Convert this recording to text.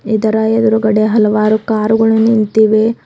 ಇದರ ಎದ್ರುಗಡೆ ಹಲವಾರು ಕಾರ್ ಗಳು ನಿಂತಿವೆ.